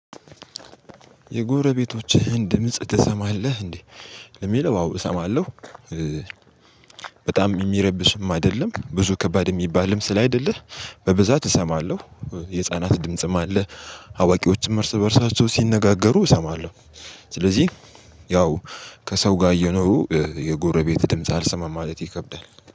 የጎረቤቶችህን ድምጽ ትሰማለህ እንዴ? ለሚለው አዎ እሰማለሁ። በጣም የሚረብሽም አይደለም ብዙ ከባድ የሚባልም ስላልይደለ በብዛት እሰማለሁ። የህፃናት ድምጽም አለ። አዋቂዎችም እርስ በእርሳቸው ሲነጋገሩ እሰማለሁ። ስለዚህ ያው ከሰው ጋር እየኖሩ የጎረቤት ድምጽ አልሰማም ማለት ይከብዳል